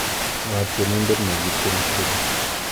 ng'o tienindet negitieni tieni